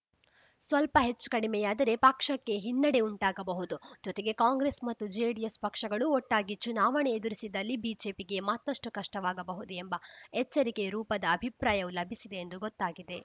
ಸ್ವಲ್ಪ ಹೆಚ್ಚುಕಡಮೆಯಾದರೆ ಪಕ್ಷಕ್ಕೆ ಹಿನ್ನಡೆ ಉಂಟಾಗಬಹುದು ಜೊತೆಗೆ ಕಾಂಗ್ರೆಸ್‌ ಮತ್ತು ಜೆಡಿಎಸ್‌ ಪಕ್ಷಗಳು ಒಟ್ಟಾಗಿ ಚುನಾವಣೆ ಎದುರಿಸಿದಲ್ಲಿ ಬಿಜೆಪಿಗೆ ಮತ್ತಷ್ಟುಕಷ್ಟವಾಗಬಹುದು ಎಂಬ ಎಚ್ಚರಿಕೆ ರೂಪದ ಅಭಿಪ್ರಾಯವೂ ಲಭಿಸಿದೆ ಎಂದು ಗೊತ್ತಾಗಿದೆ